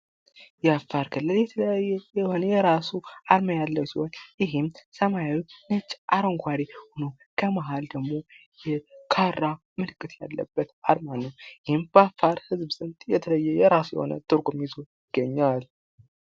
የአፋር ክልል የተለያየ የሆነ የራሱ ዓላማ ያለው ሲሆን፤ ይህም ሰማያዊ ፣ነጭ ፣አረንጓዴ የሆነው ከመሀል ደግሞ የካራ ምልክት ያለበት አርማ ነው። ይህም በአፋር ህዝብ የተለየ የራሱ የሆነ ትርጉም ይዞ ይገኛል።